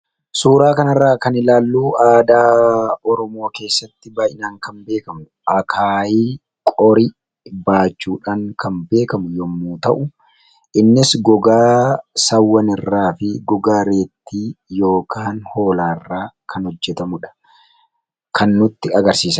Suuraa kanaa gadii irratti kan argamu aadaa Oromoo keessatti kan beekamu akaayii yookiin qorii baachuuf kan fayyaduu dha. Innis gogaa Re'ee yookiin immoo Hoolaa irraa kan hojjatameedha.